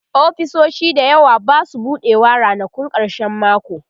ofisoshi da yawa Basu buɗewa ranakun karshen mako